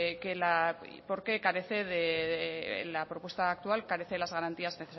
que la y por qué carece de la propuesta actual carece de las garantías